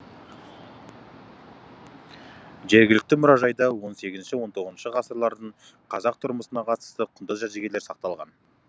жергілікті мұражайда он сегізінші он тоғызыншы ғасырлардың қазақ тұрмысына қатысты құнды жәдігерлер сақталған